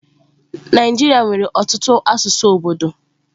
Naijiria nwere ọtụtụ asụsụ obodo.